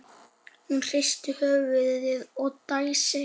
Hún hristir höfuðið og dæsir.